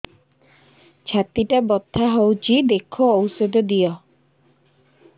ଛାତି ଟା ବଥା ହଉଚି ଦେଖ ଔଷଧ ଦିଅ